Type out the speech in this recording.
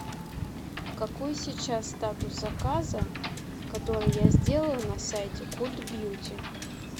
какой сейчас статус заказа который я сделала на сайте культ бьюти